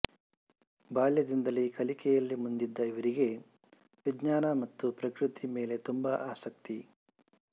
ಬಾಲ್ಯದಿಂದಲೇ ಕಲಿಕೆಯಲ್ಲಿ ಮುಂದಿದ್ದ ಇವರಿಗೆ ವಿಜ್ಞಾನ ಮತ್ತು ಪ್ರಕೃತಿ ಮೇಲೆ ತುಂಬಾ ಆಸಕ್ತಿ